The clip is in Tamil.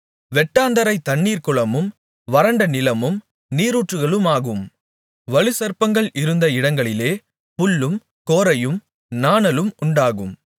வெட்டாந்தரை தண்ணீர் குளமும் வறண்ட நிலம் நீரூற்றுகளுமாகும் வலுசர்ப்பங்கள் இருந்த இடங்களிலே புல்லும் கோரையும் நாணலும் உண்டாகும்